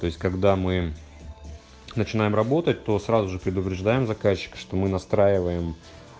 то есть когда мы начинаем работать то сразу же предупреждаем заказчика что мы настраиваем